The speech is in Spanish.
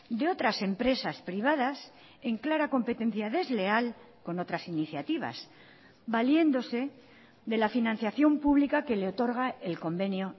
de otras empresas privadas en clara competencia desleal con otras iniciativas valiéndose de la financiación pública que le otorga el convenio